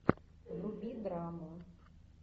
вруби драму